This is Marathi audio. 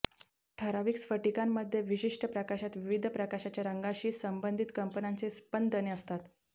ठराविक स्फटिकांमध्ये विशिष्ट प्रकाशात विविध प्रकाशाच्या रंगाशी संबंधित कंपनांचे स्पंदने असतात